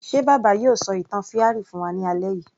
Ṣe bàbá yóò ṣọ ìtàn fairy fún wa ní alẹ́ yìí